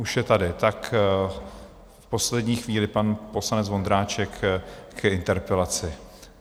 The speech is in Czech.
Už je tady, tak v poslední chvíli pan poslanec Vondráček k interpelaci.